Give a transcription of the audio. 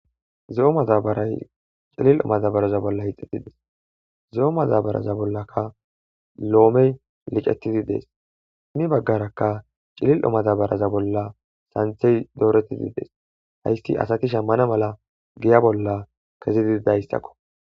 zo7o madabaray cilil7o madabaraza bolla hixxetides zo7o madabaraza bollaka loomey licetidi dees imi baggarakka cilil7o madabaraza bolla santhey dooretidi dees haysti asati shammana mala giya bolla kezi dididayssakko